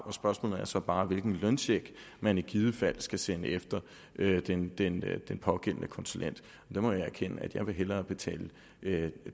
spørgsmålet er så bare hvilken løncheck man i givet fald skal sende efter den pågældende konsulent der må jeg erkende at jeg hellere vil betale